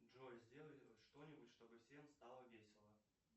джой сделай что нибудь чтобы всем стало весело